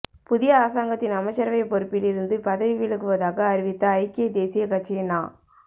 புதிய அரசாங்கத்தின் அமைச்சரவைப் பொறுப்பில் இருந்து பதவி விலகுவதாக அறிவித்த ஐக்கிய தேசிய கட்சியின் நா